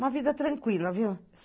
Uma vida tranquila, viu?